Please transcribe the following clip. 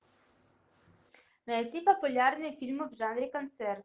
найти популярные фильмы в жанре концерт